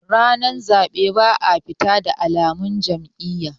ranar zaɓe ba a fita da alamun Jam'iyya